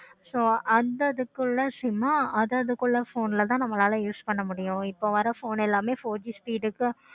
so அந்த இதுக்குள்ள சொன்ன அத அதற்குள்ள phone ஆஹ் தான் use பண்ண முடியும். இப்போ வர phone எல்லாமே four G speed இருக்கு.